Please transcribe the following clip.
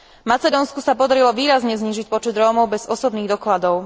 Macedónsku sa podarilo výrazne znížiť počet Rómov bez osobných dokladov.